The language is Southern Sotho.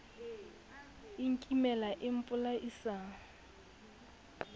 e a nkimela e mpolaisa